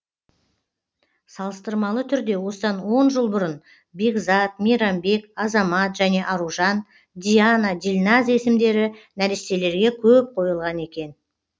салыстырмалы түрде осыдан жыл бұрын бекзат мейрамбек азамат және аружан диана дильназ есімдері нәрестелерге көп қойылған екен